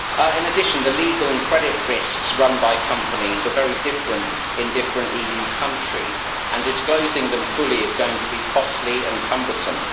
In addition, the legal and credit risks run by companies are very different in different EU countries, and disclosing them fully is going to be costly and cumbersome.